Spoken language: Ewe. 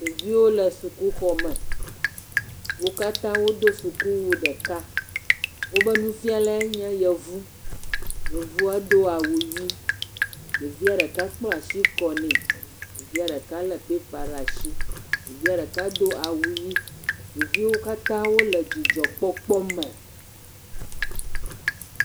Ɖeviwo le sukuxɔme. Wo katã wodo sukuwu ɖeka. Woƒe nufialae nye Yevu. Yevua do awu ʋi. Ɖevia ɖeka kpla ashi kɔnɛ, ya ɖeka lé pepa laa shi. Ya ɖeka do awu ʋi. Ɖeviwo katã wole dzidzɔkpɔkpɔ me.